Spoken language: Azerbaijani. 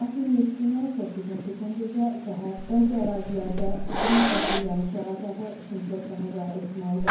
Lakin 7-dən 8-nə keçən gecə, səhər bəzi ərazilərdə qısa müddətli yağış yağacağı, şimşək çaxacağı ehtimalı var.